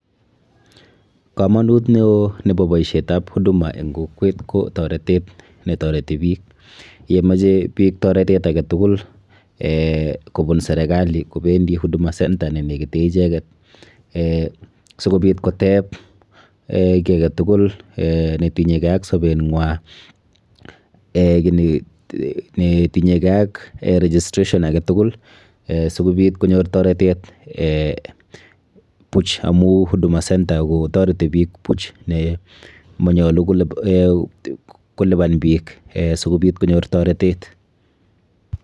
Komonut neo nebo boishet ab huduma en kokwet ko torotet ne toreti biik, yemache biik toretet agetugul kobun serekali kobendi huduma center nenegite ichek si kobit koteb ki agetukul netinyeke ak sobet nywa netinyekei ak registration agetugul sikobit konyor toretet puch amu huduma center kotoreti biik puch manyolu koliban biik sikobiit konyor toretet